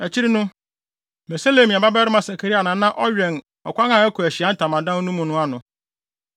Akyiri no, Meselemia babarima Sakaria na na ɔwɛn ɔkwan a ɛkɔ Ahyiae Ntamadan no mu no ano.